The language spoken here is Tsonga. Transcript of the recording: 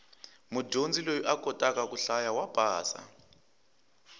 mudyondzi loyi a kotaka ku hlaya wa pasa